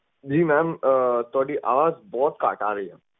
ਜੀ mam ਤੁਹਾਡੀ ਆਵਾਜ਼ ਬਹੁਤ ਘੱਟ ਆ ਰਹੀ ਹੈ